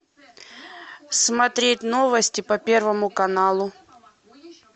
смотреть новости по первому каналу